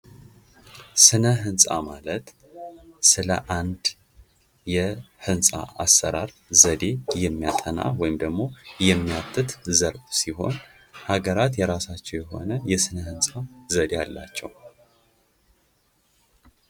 ስነ- ህንፃ ማለት ስለ አንድ የልንፃ አሰራር ዘዴ የሚያጠና ወይም የሚያትትት ዘርፍ ሲሆን ሃገራት የራሳቸው የሆነ የስነ-ህንፃ ዘዴ አላቸው።